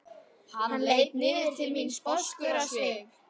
Hann leit niður til mín sposkur á svip.